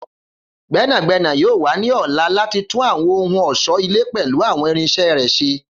Gbẹnagbẹna yoo wa ni ọla lati tun awọn ohun ọṣọ-ile pẹlu awọn irinṣẹ rẹ ṣe.